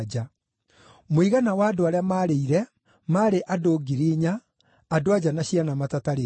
Mũigana wa andũ arĩa maarĩire maarĩ andũ ngiri inya, andũ-a-nja na ciana matatarĩtwo.